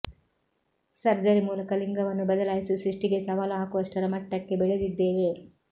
surgery ಮೂಲಕ ಲಿಂಗವನ್ನೂ ಬದಲಾಯಿಸಿ ಸೃಷ್ಟಿಗೇ ಸವಾಲು ಹಾಕುವಷ್ಟರ ಮಟ್ಟಕ್ಕೆ ಬೆಳೆದಿದ್ದೇವೆ